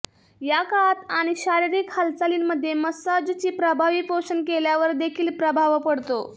या काळात आणि शारीरिक हालचालींमधे मसाजची प्रभावी पोषण केल्यावर देखील प्रभाव पडतो